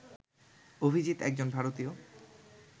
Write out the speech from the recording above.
অভিজিত একজন ভারতীয়